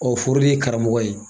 O foro de ye karamɔgɔ ye.